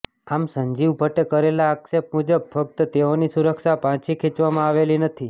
આમ સંજીવ ભટ્ટે કરેલા આક્ષેપ મુજબ ફકત તેઓની સુરક્ષા પાછી ખેંચવામાં આવેલી નથી